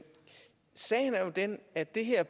sagen er jo den at det her